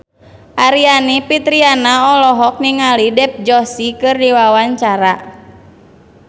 Aryani Fitriana olohok ningali Dev Joshi keur diwawancara